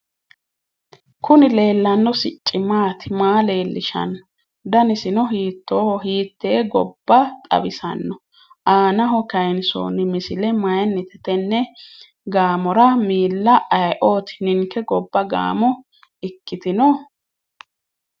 Kuni leellanno sicci maati? Maa leellishanno? Danisino hiittooho? Hiittee gobbaxawisanno? Aanaho kayinsoonni misile mayinnite? Tenne gaamora miilla ayeeooti? Ninke gobba gaamo ikkitino?